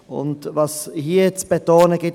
Was es hier zu betonen gibt: